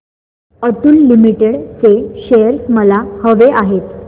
Atul limited चे shares मला हवे आहेत